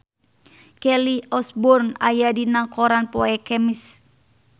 Kelly Osbourne aya dina koran poe Kemis